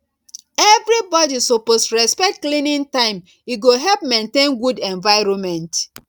everybody suppose respect cleaning time e go help maintain good environment